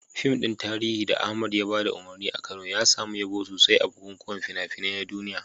Fim ɗin tarihi da Ahmad ya ba da umarni a Kano, ya samu yabo sosai a bukukuwan fina-finai na duniya.